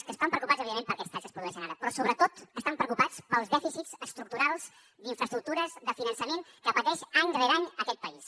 que estan preocupats evidentment per aquests talls que es produeixen ara però sobretot estan preocupats pels dèficits estructurals d’infraestructures de finançament que pateix any rere any aquest país